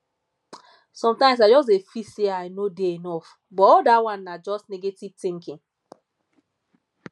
sometimes i dey feel say i no dey enough but all dat one na just negative thinking